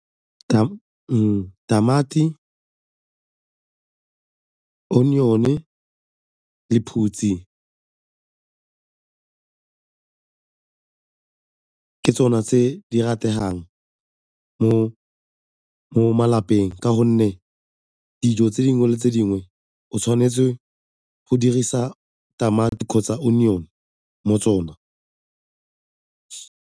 Tamati, onion-e, lephutse ke tsone tse di rategang mo malapeng ka gonne dijo tse dingwe le tse dingwe o tshwanetse go dirisa tamati kgotsa onion mo tsona.